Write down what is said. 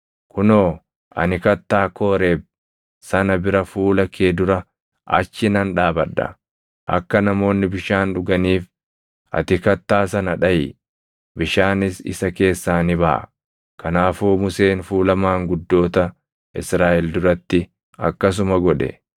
Kunoo ani kattaa Kooreeb sana bira fuula kee dura achi nan dhaabadha; akka namoonni bishaan dhuganiif ati kattaa sana dhaʼi; bishaanis isa keessaa ni baʼa.” Kanaafuu Museen fuula maanguddoota Israaʼel duratti akkasuma godhe.